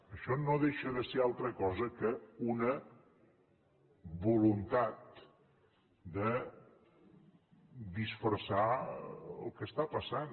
això no deixa de ser altra cosa que una voluntat de disfressar el que està passant